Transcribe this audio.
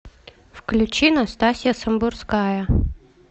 включи настасья самбурская